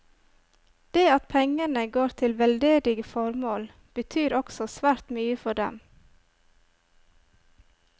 Det at pengene går til veldedige formål betyr også svært mye for dem.